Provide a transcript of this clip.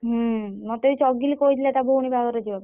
ହୁଁ ମତେ ଏଇ ଚଗିଲି କହିଥିଲା ତା ଭଉଣୀ ବାହାଘର କୁ ଯିବା ପାଇଁ ମୁଁ ।